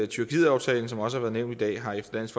tyrkiet aftalen som også har været nævnt i dag har efter dansk